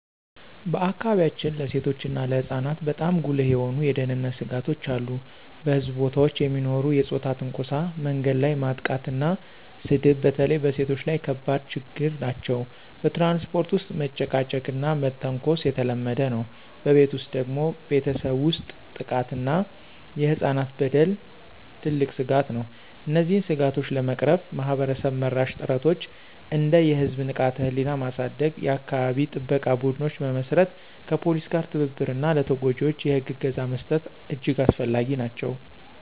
በአካባቢያችን ለሴቶችና ለህፃናት በጣም ጉልህ የሆኑ የደህንነት ስጋቶች አሉ። በሕዝብ ቦታዎች የሚኖሩ የፆታ ትንኮሳ፣ መንገድ ላይ ማጥቃትና ስድብ በተለይ በሴቶች ላይ ከባድ ችግኝ ናቸው። በትራንስፖርት ውስጥ መጨቃጨቅና መተንኮስ የተለመደ ነው። በቤት ውስጥ ደግሞ ቤተሰብ ውስጥ ጥቃት እና የህፃናት በደል ትልቅ ስጋት ነው። እነዚህን ስጋቶች ለመቅረፍ ማህበረሰብ-መራሽ ጥረቶች እንደ የህዝብ ንቃተ-ህሊና ማሳደግ፣ የአካባቢ ጥበቃ ቡድኖች መመስረት፣ ከፖሊስ ጋር ትብብር እና ለተጎጂዎች የህግ እገዛ መስጠት እጅግ አስፈላጊ ናቸው።